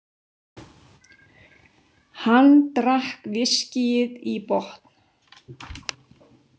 Hann drakk viskíið í botn.